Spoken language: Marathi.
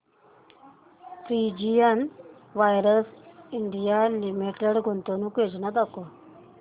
प्रिसीजन वायर्स इंडिया लिमिटेड गुंतवणूक योजना दाखव